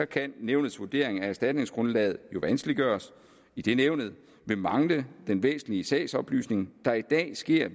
kan nævnets vurdering af erstatningsgrundlaget jo vanskeliggøres idet nævnet vil mangle den væsentlige sagsoplysning der i dag sker